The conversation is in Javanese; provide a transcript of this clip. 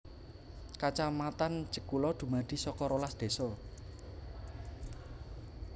Kacamatan Jekulo dumadi saka rolas désa